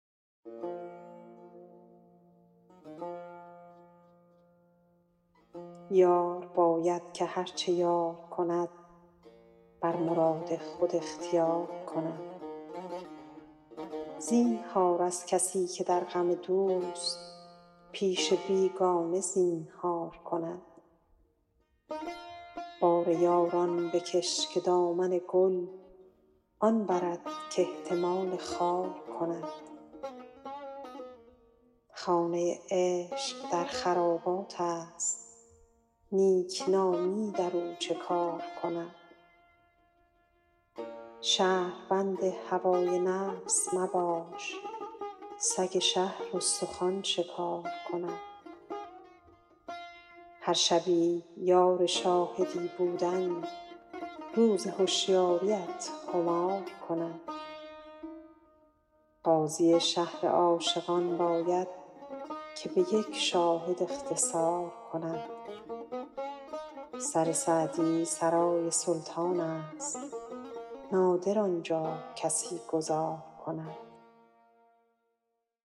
یار باید که هر چه یار کند بر مراد خود اختیار کند زینهار از کسی که در غم دوست پیش بیگانه زینهار کند بار یاران بکش که دامن گل آن برد کاحتمال خار کند خانه عشق در خراباتست نیکنامی در او چه کار کند شهربند هوای نفس مباش سگ شهر استخوان شکار کند هر شبی یار شاهدی بودن روز هشیاریت خمار کند قاضی شهر عاشقان باید که به یک شاهد اختصار کند سر سعدی سرای سلطانست نادر آن جا کسی گذار کند